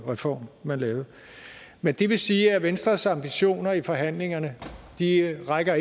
reform man lavede men det vil sige at venstres ambitioner i forhandlingerne ikke rækker